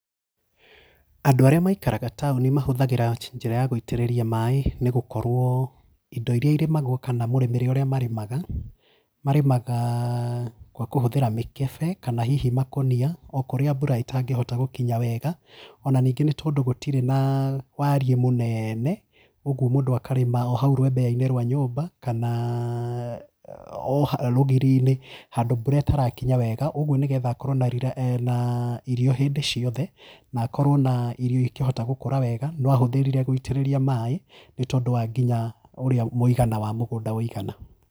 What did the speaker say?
Andũ arĩa maikaraga taũni mahũthagĩra njĩra ya gũitĩrĩria maĩ nĩ gũkorwo indo iria irĩmagwo kana mũrĩmĩre ũrĩa marĩmaga, marĩmaga gwa kũhũthĩra mĩkebe kana hihi makũnia o kũrĩa mbura ĩtangĩhota gũkinya wega on ningĩ nĩ tondũ gũtirĩ naa wariĩ mũnene. Kuoguo mũndũ akarĩma ohau rwembea-inĩ rwa nyũmba kanaa rũgiri-nĩ handũ mbura ĩtarakinya wega, ũguo nĩ getha akorwo na, na irio hĩndĩ ciothe na akorwo na irio ikĩhota gũkũra wega no ahũthĩrire gũitĩrĩria mai nĩ tondũ wa nginya ũrĩa mũigana wa mũgũnda ũigana.